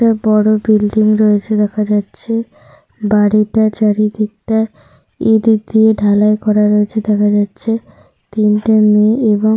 একটা বয়ষ্ক লোক দেখা যাচ্ছে। তার মাথায় একটা ঝুড়ি রয়েছে দেখা যাচ্ছে। একটা বাচ্চা ছেলের পরে একটা বাচ্চা ছেলে রয়েছে দেখা যাচ্ছে।